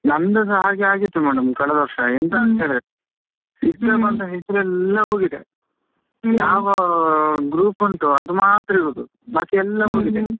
ನಂದು ಸಹ ಹಾಗೆ ಆಗಿತ್ತು madam ಕಳೆದ ವರ್ಷ ಎಂತಾ ಅಂತೇಳಿದ್ರೆ ಹೆಸರೆಲ್ಲ ಹೋಗಿದೆ ಯಾವ group ಉಂಟು ಅದು ಮಾತ್ರ ಇರೋದು ಬಾಕಿ ಎಲ್ಲಾ ಹೋಗಿದೆ.